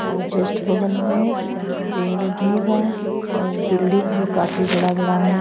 और जस्ट बगल में पेड़ भी बा और बिल्डिंग भी काफी बड़ा -बड़ा है।